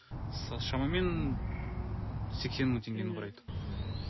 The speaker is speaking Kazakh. шамамен сексен мың теңгені құрайды мхм